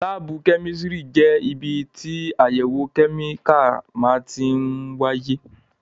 Láábù kẹ́mísìrì jẹ́ ibi tí àyẹ̀wò kẹ́míkà máa tí ń wáyé